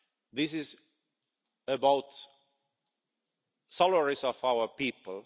This is about the salaries of our people.